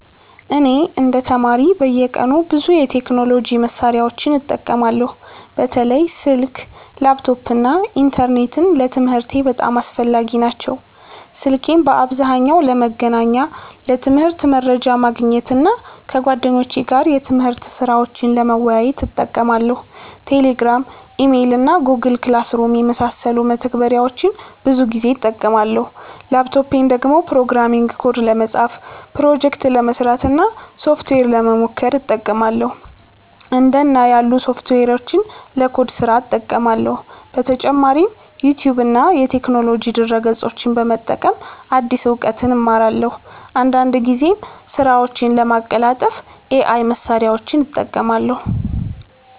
እኔ እንደ ተማሪ በየቀኑ ብዙ የቴክኖሎጂ መሳሪያዎችን እጠቀማለሁ። በተለይ ስልክ፣ ላፕቶፕ እና ኢንተርኔት ለትምህርቴ በጣም አስፈላጊ ናቸው። ስልኬን በአብዛኛው ለመገናኛ፣ ለትምህርት መረጃ ማግኘት እና ከጓደኞቼ ጋር የትምህርት ስራዎችን ለመወያየት እጠቀማለሁ። Telegram፣ Email እና Google Classroom የመሳሰሉ መተግበሪያዎችን ብዙ ጊዜ እጠቀማለሁ። ላፕቶፔን ደግሞ ፕሮግራሚንግ ኮድ ለመጻፍ፣ ፕሮጀክት ለመስራት እና ሶፍትዌር ለመሞከር እጠቀማለሁ። እንደ እና ያሉ ሶፍትዌሮችን ለኮድ ስራ እጠቀማለሁ። በተጨማሪም ዩቲዩብ እና የቴክኖሎጂ ድረ-ገጾችን በመጠቀም አዲስ እውቀት እማራለሁ። አንዳንድ ጊዜም ስራዎቼን ለማቀላጠፍ AI መሳሪያዎችን እጠቀማለሁ።